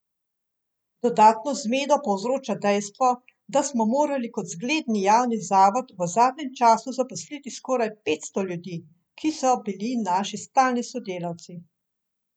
Dodatno zmedo povzroča dejstvo, da smo morali kot zgledni javni zavod v zadnjem času zaposliti skoraj petsto ljudi, ki so bili naši stalni sodelavci.